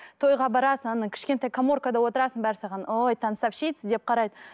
тойға барасың ана кішкентай коморкада отырасың бәрі саған ой танцовщица деп қарайды